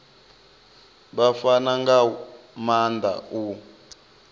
vha fana nga maanda u